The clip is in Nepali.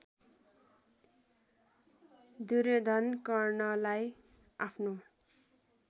दुर्योधन कर्णलाई आफ्नो